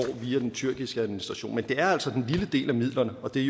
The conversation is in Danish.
via den tyrkiske administration men det er altså den lille del af midlerne og det er